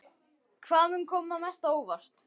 Hvað mun koma mest á óvart?